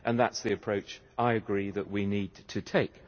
That is the approach I agree that we need to take.